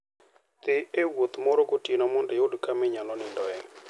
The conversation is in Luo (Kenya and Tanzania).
Dhi e wuoth moro gotieno mondo iyud kama inyalo nindoe.